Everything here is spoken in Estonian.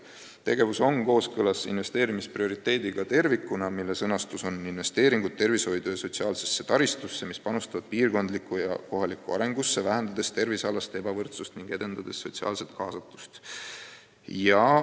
Tegevus on kooskõlas investeerimisprioriteediga, mis on sõnastatud nii: investeeringud tervishoidu ja sotsiaalsesse taristusse, mis panustavad piirkondlikku ja kohalikku arengusse, vähendades tervisealast ebavõrdsust ning edendades sotsiaalset kaasatust.